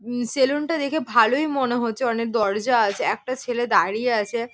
উম সেলুনটা দেখে ভালোই মনে হচ্ছে। অনেক দরজা আছে একটা ছেলে দাঁড়িয়ে আছে।